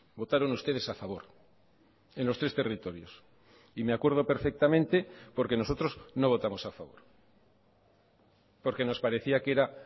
votaron ustedes a favor en los tres territorios y me acuerdo perfectamente porque nosotros no votamos a favor porque nos parecía que era